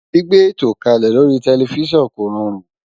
Gbígbé ètò kalẹ lórí tẹlifísàn kò rọrùn